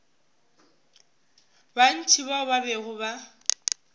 bantši bao ba bego ba